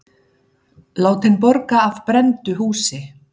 Látinn borga af brenndu húsi